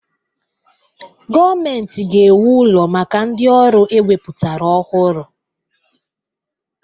Gọọmenti ga-ewu ụlọ maka ndị ọrụ ewepụtara ọhụrụ